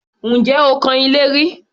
Ǹjẹ́ o kan ilé rí?